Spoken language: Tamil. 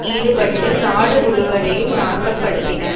ஈடுபட்டு நாடு முழுவதையும் நாசப்படுத்தின